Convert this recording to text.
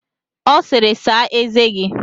Ọ sịịrị, saa eze gi!